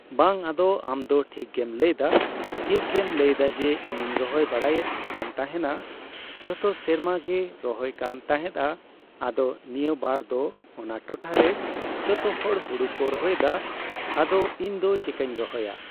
ᱵᱟᱝ ᱟᱫᱚ ᱟᱢᱫᱚ ᱴᱷᱤᱠᱜᱮᱢ ᱞᱟᱹᱭᱮᱫᱟ ᱴᱷᱤᱠᱜᱮᱢ ᱞᱟᱹᱭᱮᱫᱟ ᱡᱮ ᱤᱧ ᱤᱧ ᱨᱚᱦᱚᱭ ᱵᱟᱲᱟᱭᱮᱫ ᱠᱟᱱᱛᱟᱦᱮᱸᱫ ᱼᱟ ᱡᱚᱛᱚ ᱥᱮᱨᱢᱟᱜᱮ ᱨᱚᱦᱚᱭᱮᱫ ᱠᱟᱱ ᱛᱟᱦᱮᱸᱫᱼᱟ ᱟᱫᱚ ᱱᱤᱭᱟᱹ ᱵᱟᱨ ᱫᱚ ᱚᱱᱟ ᱴᱚᱴᱷᱟᱨᱮ ᱡᱚᱛᱚᱦᱚᱲ ᱦᱩᱲᱩᱠᱩ ᱨᱚᱦᱚᱭᱮᱫᱟ ᱟᱫᱚ ᱤᱧᱫᱚ ᱪᱮᱠᱟᱧ ᱨᱚᱦᱚᱭᱟ ?